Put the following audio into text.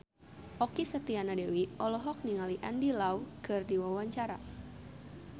Okky Setiana Dewi olohok ningali Andy Lau keur diwawancara